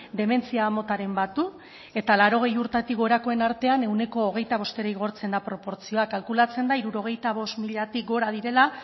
dementzia motaren bat du eta laurogei urtetik gorakoen artean ehuneko hogeita bostera igortzen da proportzioak kalkulatzen da hirurogeita bost milatik gora direla